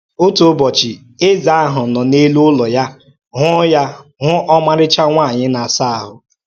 Otu ụbọchị, eze ahụ nọ n’elu ụlọ ya hụ̀ ya hụ̀ ọmarịcha nwanyị na-asa ahụ.